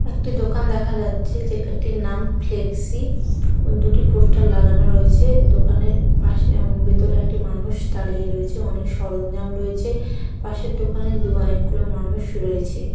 একটি দোকান দেখা যাচ্ছে যেটাটির নাম ফ্লেক্সি ওই দুটি পোস্টার লাগানো রয়েছে দোকানের পাশে উম ভেতরে একটি মানুষ দাঁড়িয়ে রয়েছে। অনেক সরঞ্জাম রয়েছে পাশের দোকানে দো অনেক গুলো মানুষ রয়েছে।